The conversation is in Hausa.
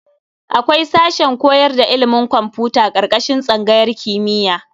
Akwai sashen koyar da ilimin kwamfuta ƙarƙashin tsangayar kimiyya.